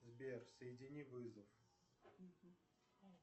сбер соедини вызов